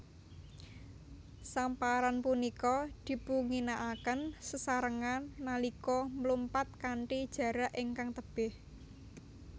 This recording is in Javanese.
Samparan punika dipunginakaken sesarengan nalika mlumpat kanthi jarak ingkang tebih